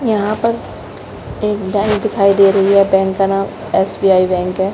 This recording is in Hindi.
यहां पर एक बैंक दिखाई दे रही है। बैंक का नाम एसबीआई बैंक है।